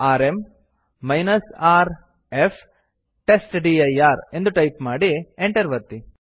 RM rf test dir ಎಂದು type ಮಾಡಿ enter ಒತ್ತಿ